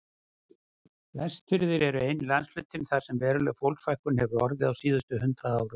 Vestfirðir eru eini landshlutinn þar sem veruleg fólksfækkun hefur orðið á síðustu hundrað árum.